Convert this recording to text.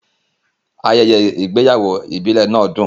Ayẹyẹ ìgbéyàwó ìbílẹ̀ náà dùn.